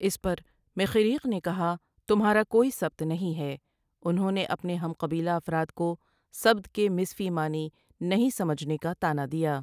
اس پر مخیریق نے کہا، تمہارا کوئی سبت نہیں ہے انہوں نے اپنے ہم قبیلہ افراد کو سبت کے مضفی معنی نہیں سمجھنے کا طعنہ دیا ۔